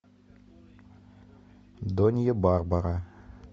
донья барбара